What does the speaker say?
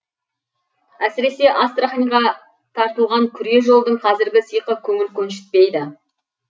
әсіресе астраханьға тартылған күре жолдың қазіргі сиқы көңіл көншітпейді